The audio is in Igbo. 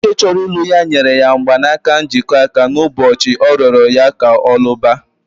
Nwoke chọrọ ilụ ya nyere ya mgbanaka njikọ aka n'ụbọchị ọ rịoro ya ka ọ lụba